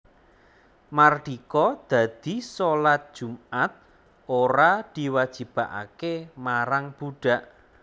Mardika dadi shalat Jumat ora diwajibake marang budhak